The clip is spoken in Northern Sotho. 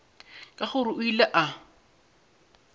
ke gore o ile a